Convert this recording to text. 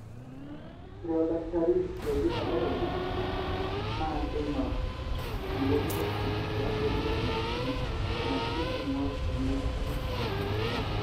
ore oldakitari looji pathologist na kingorr imorioshi tiabori emashini naaji pingorr olmeitai lecanser.